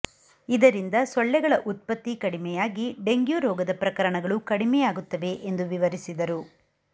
ಇದರಿಂದ ಸೊಳ್ಳೆಗಳ ಉತ್ಪತ್ತಿ ಕಡಿಮೆಯಾಗಿ ಡೆಂಗ್ಯೂ ರೋಗದ ಪ್ರಕರಣಗಳು ಕಡಿಮೆಯಾಗುತ್ತವೆ ಎಂದು ವಿವರಿಸಿದರು